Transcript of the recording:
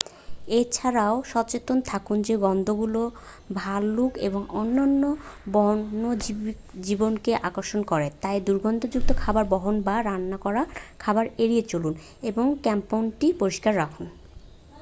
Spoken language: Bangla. এ ছাড়াও সচেতন থাকুন যে গন্ধগুলো ভালুক এবং অন্যান্য বন্যজীবনকে আকর্ষণ করে তাই দুর্গন্ধযুক্ত খাবার বহন বা রান্না করা খাবার এড়িয়ে চলুন এবং ক্যাম্পটি পরিষ্কার রাখুন